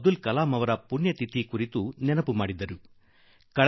ಅಬ್ದುಲ್ ಕಲಾಂ ಜೀ ಅವರ ಪುಣ್ಯ ತಿಥಿಯನ್ನು ನೆನಪು ಮಾಡಿಕೊಟ್ಟಿದ್ದಾನೆ